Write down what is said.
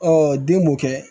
den m'o kɛ